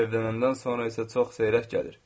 Evlənəndən sonra isə çox seyrək gəlir.